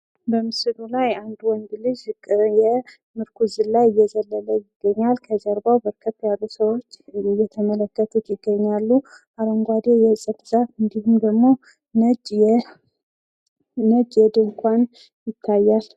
በምስሉ ላይ አንድ ወንድ ልጅ ሽቅብ እያየ ምርኩዝ ዝላይ እየዘለለ ይገኛል። ከጀርባው በርከት ያሉ ሰዎች እየተመለከቱት ይገኛሉ። አረንጓዴ የእጽዋት ዛፍ እንዲሁም ደግሞ ነጭ ድንኳን ይታያል።